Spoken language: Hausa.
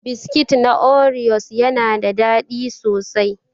Biskit na oriyos yana da daɗi sosai.